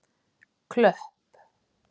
Klöpp